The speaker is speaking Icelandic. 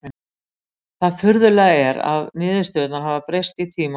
Það furðulega er að niðurstöðurnar hafa breyst í tímans rás.